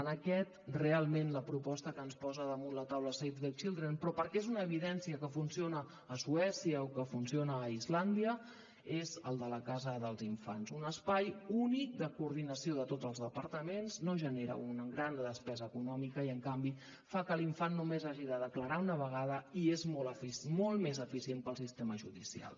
en aquest realment la proposta que ens posa damunt la taula save the children però perquè és una evidència que funciona a suècia o que funciona a islàndia és el de la casa dels infants un espai únic de coordinació de tots els departaments no genera una gran despesa econòmica i en canvi fa que l’infant només hagi de declarar una vegada i és molt més eficient per al sistema judicial